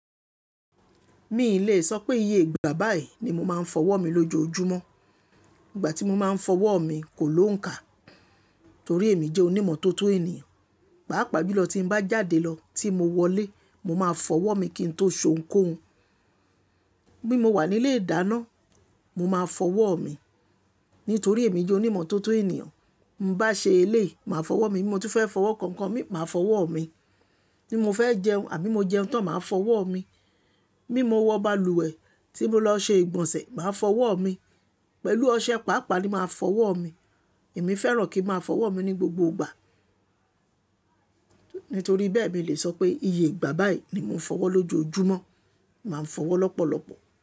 Mi ì leè sọ pé iye ìgbà báyìí ni mo máa ń fọwọ́ mi lójoojúmọ́. Ìgbà tí mo máa ń fọwọ́ mi kò lóǹkà torí èmi jẹ́ onímọ́tótó ènìyàn. Pàápàá jùlọ tí n bá jáde lọ tí mo wọlé, mo máa fọwọ́ mi kí n tó sounkóun. Bí mo wà nílé ìdáná, mo máa fọwọ́ ọ̀ mi. Nítorí èmi jẹ́ onímọ́tótó ènìyàn. Báa ṣe eléìí, màá fọwọ́ mi. Bí mo tún fẹ́ fọwọ́ kan ǹkan míì, màá fọwọ́ ọ̀ mi. Bí mo fẹ́ jẹun àbí mo jẹun tán, màá fọwọ́ ọ̀ mi. Bí mo wọ balùwẹ̀ tí mo lọ ṣe ìgbọ̀nsẹ̀, màá fọwọ́ mi. Pẹ̀lú ọṣẹ, pàápàá ni màá fọwọ́ ọ̀ mi. Èmi fẹ́ràn kí n máa fọwọ́ mi ní gbogbo ìgbà. Nítorí bẹ́ẹ̀ mi lè sọ pé iye ìgbà báyìí ni mo ń fọwọ́ lójoojúmọ́. Mà ń fọwọ́ lọ́pọ̀lọpọ̀.